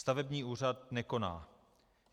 Stavební úřad nekoná.